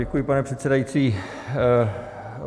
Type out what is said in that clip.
Děkuji, pane předsedající.